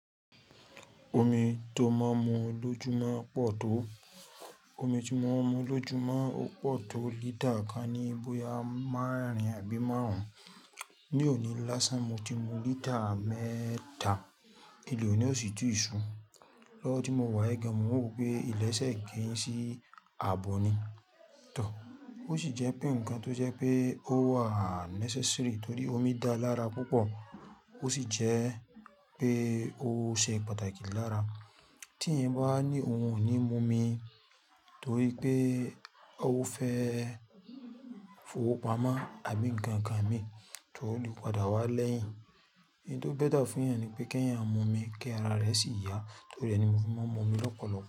Omi tó máa ń mu lójumo pọ̀ tó. Omi tí mo ń mu lójúmo ó pọ̀ tó lítà kan ní bóyá márin àbí márùn-ún. Ní òní lásán mo ti mu lítà mẹ́ta. Ìlé òní ó sì tú ṣù. Lọ́wọ́ tí mo wá yì gàn mo ń wò pé ilẹ̀ṣẹ̀ ń gẹ́ sí àbọ̀ ni. Tọ̀. Ó sì jẹ́ pé ǹkan tó jẹ́ pé ó wà necessary torí omi dáa lára púpọ̀ ó sì jẹ́ pé ó ṣe pàtàkì lára. Tí ẹ̀yin bá ní òun ò ní mu omi torí pé ó fẹ́ fowópamọ́ àbí ǹkan kan mi tó lè padà wá lẹ́yìn. Ẹ̀yin tó bẹ́tà fún ẹ̀yàn ni pé kí ẹ̀yàn mu omi kí ara rẹ sì yà torí re ni mọ́ fi máa ń mu omi lọ́pọ̀lọpọ̀